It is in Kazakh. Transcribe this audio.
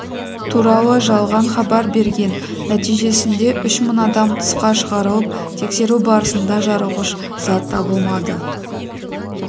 туралы жалған хабар берген нәтижесінде ұш мың адам тысқа шығарылып тексеру барысында жарылғыш зат табылмады